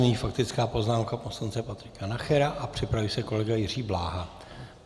Nyní faktická poznámka poslance Patrika Nachera a připraví se kolega Jiří Bláha.